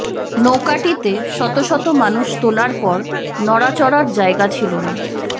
নৌকাটিতে শত শত মানুষ তোলার পর নড়াচড়ার জায়গা ছিল না